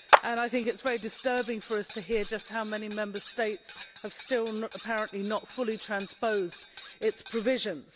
It is very disturbing for us to hear just how many Member States have still, apparently, not fully transposed its provisions.